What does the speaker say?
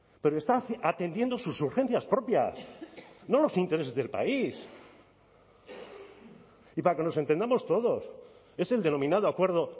pero está atendiendo sus urgencias propias no los intereses del país y para que nos entendamos todos es el denominado acuerdo